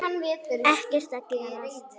Ekkert að gerast.